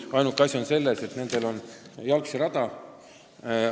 Ainuke asi on selles, et nendel on jalgsirada.